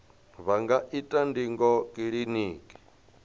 vha nga ita ndingo kiliniki